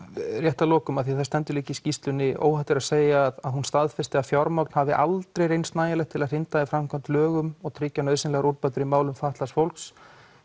rétt að lokum af því það stendur líka í skýrslunni óhætt er að segja að hún staðfesti að fjármagn hafi aldrei reynst nægilegt til að hrinda í framkvæmd lögum og tryggja nauðsynlegar úrbætur í málum fatlaðs fólks